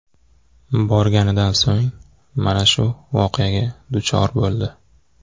Borganidan so‘ng mana shu voqeaga duchor bo‘ldi.